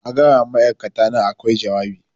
A gaya wa ma'aikatana a kwai jawabi